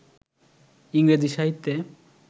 ইংরেজি সাহিত্যে